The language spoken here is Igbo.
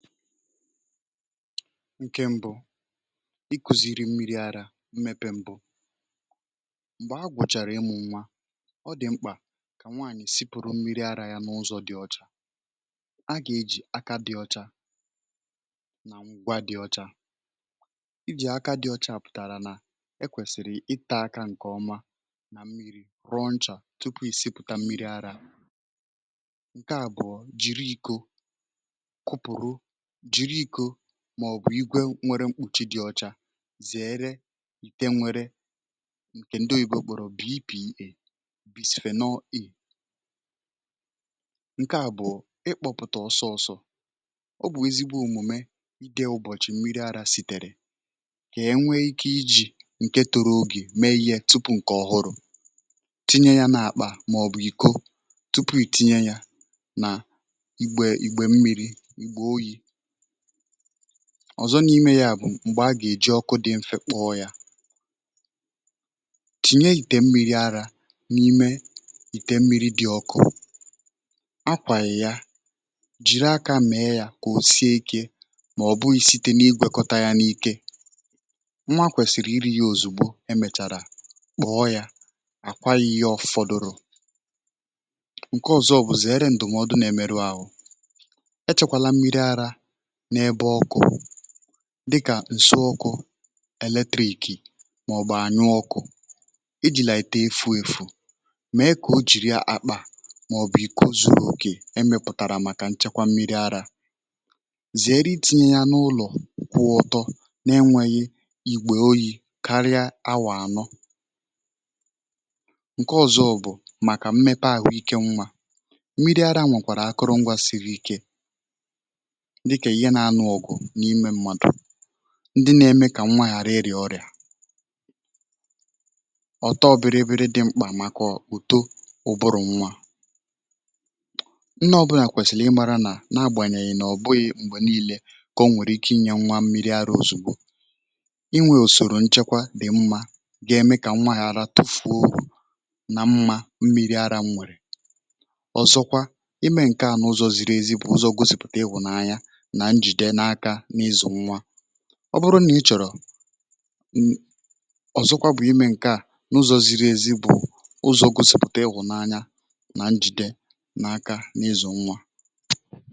ǹkè mbụ̇ ikùzìri mmiri arȧ mmepe mbụ um m̀gbè a gwụ̀chàrà ịmụ̇ nwa ọ dị̀ mkpà ya bụ kà nwaànyị̀ sipuru mmiri arȧ yȧ n’ụzọ̇ dị ọcha agà ejì aka dị ọcha nà ngwa dị ọcha iji aka dị ọcha ọ bụkwa pụ̀tàrà nà ekwèsìrì ịtȧ aka ǹkè ọma nà mmiri̇ raw nchà tupu ị sịpụ̀ta mmiri arȧ ǹke à bụ̀ọ jiri i̇ko um jiri iko màọ̀bụ̀ igwèrè mkpùchi dị ọcha zèere ike ya bụ nwere ǹkè ndị oyibo kpọ̀rọ̀ bipì ebusifè nọ iǹke à bụ̀ ịkpọ̇pụ̀tà ọsọ ọsọ̇ ọ bụ̀ ezigbo òmùme ide ụbọ̀chị mmiri arȧ sìtèrè kà enwee ike iji̇ ǹke toro ogè mee ihe tupu ǹkè ọhụrụ̇ tinye ya n’àkpà màọ̀bụ̀ iko tupu ìtinye ya nà igbè ìgbè mmi̇ri igbè oyi̇ ọ̀zọ n’ime yȧ um m̀gbè a gà-èji ọkụ dị mfe kpụọ yȧ chìnye yìte mmiri arȧ n’ime yìte mmiri dị ọkụ akwànyè ya jiri aka mẹẹ yȧ kà o sie ikėmà ọ̀ bụghị̇ site na-igwėkọta yȧ n’ike nwa kwèsìrì iri̇ yȧ òzùgbo emèchàrà kpọ̀ọ yȧ àkwaghị ihe ọfọ̇dụ̀rụ̀ ǹke ọ̀zọ ọ̀bụ̀zị̀ ẹrẹ ǹdụ̀mọdụ nȧ-emeru àhụ ya bụ dịkà ǹsoọkụ̇ elètị̀kì màọ̀bụ̀ ànyụ ọkụ̇ ijìlà ète efu ėfu̇ mèe kà o jìri akpà màọ̀bụ̀ ikȯ zu̇ru̇ òkè e mepụ̀tàrà ya bụ màkà nchekwa mmi̇ri arȧ zìere iti̇nyė ya n’ụlọ̀ kwụọ ọ̇tọ̇ um na-enwėghi̇ ìgbè oyi̇ karịa awà anọ ǹke ọ̇zọ̇ bụ̀ màkà mmepe àhụike nwȧ ya bụ mmiri arȧ nwèkwàrà akụrụ̇ngwȧ siri ike ndị nȧ-ėmė kà nwa ghara irì ọrịà ọ̀tọ biri biri um dị̇ mkpà maka ụ̀to ụbụrụ̇ nwa ndị ọbụlà kwèsìlì ịmȧrȧ nà na-agbànyèghì nà ọ̀bụghị̇ m̀gbè nii̇lė kà o nwèrè ike inyė nwa mmiri arȧ ozùgbo inwė òsòrò nchekwa dị̀ mmȧ ga-eme kà nwa ghara tufu̇u nà mmȧ mmiri ara nwèrè ọ̀zọkwa ọ bụrụ nà ị chọ̀rọ̀ ya bụ ọ̀zọkwa bụ̀ imė ǹkè a n’ụzọ̀ ziri ezi bụ̀ ụzọ̀ gosipụ̀ta ịhụ̀nanya nà njide n’ aka um n’ ịzụ̀ nwa